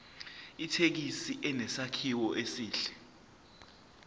ithekisi inesakhiwo esihle